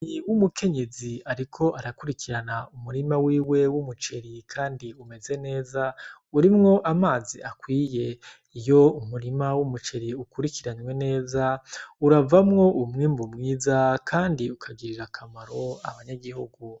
Ni w umukenyezi, ariko arakurikirana umurima wiwe w'umuceri, kandi umeze neza urimwo amazi akwiye iyo umurima w'umuceri ukurikiranywe neza uravamwo umwimbu mwiza, kandi ukagirira akamaro abanyagihugu.